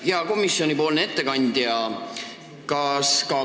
Hea komisjoni ettekandja!